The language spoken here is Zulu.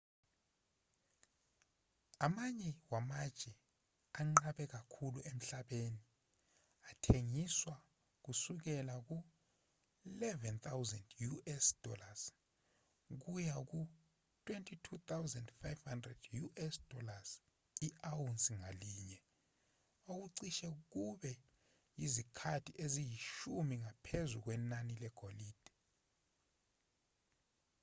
amanye wamatshe anqabe kakhulu emhlabeni athengiswa kusukela ku-us$11,000 kuya ku-us$22,500 i-awunsi ngalinye okucishe kube yizikhathi eziyishumi ngaphezu kwenani legolide